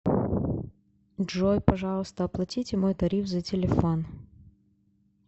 джой пожалуйста оплатите мой тариф за телефон